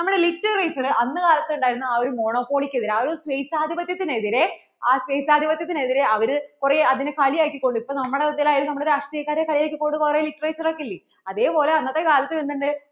അന്ന് കാലത്തു ഉണ്ടായിരുന്ന ആ ഒരു Monopoly ക്കു എതിരേ ആ ഒരു സ്വേച്ഛാധിപത്യത്തിനെതിരെ ആ സ്വേച്ഛാധിപത്യത്തിനെതിരെ അവര്‍ കൂറേ അതിനു കളിയാക്കി കൊണ്ട് ഇപ്പോ നമ്മളെ ഇതിൽ ആണേലും നമ്മൾ രാഷ്ട്രീയക്കാരെ കളിയാക്കി കൊണ്ട് കുറേ literature ഒക്കെയില്ലേ അതേ പോലേ അന്നത്തെ കാലത്തു എന്തിണ്ടു